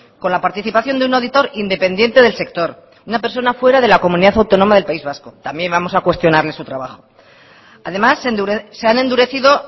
con la participación de un auditor independiente del sector una persona fuera de la comunidad autónoma del país vasco también vamos a cuestionarle su trabajo además se han endurecido